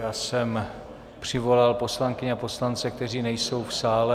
Já jsem přivolal poslankyně a poslance, kteří nejsou v sále.